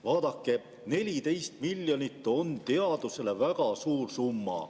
" Vaadake, 14 miljonit on teadusele väga suur summa.